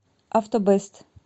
автобэст